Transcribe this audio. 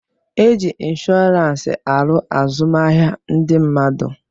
E ji inshọransị aru azụmahịa ndị mmadụ.